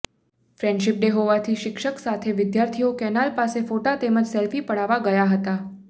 friendship day હોવાથી શિક્ષક સાથે વિદ્યાર્થીઓ કેનાલ પાસે ફોટા તેમજ સેલ્ફી પાડવા ગયા હતા